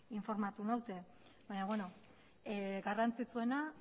informatu naute baina beno garrantzitsuena